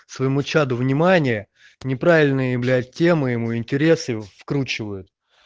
своему чаду внимание неправильные блять темы ему интересы вкручивают